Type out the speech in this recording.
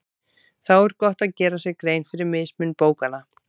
Þá er gott að gera sér grein fyrir mismun bókanna.